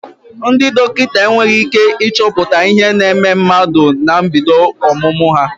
Ndị dọkịta enweghị ị́ké ịchọpụta ihe na-eme mmadụ na mbido ọmụmụ ha.